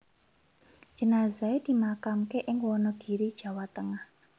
Jenazahe dimakamke ing Wonogiri Jawa Tengah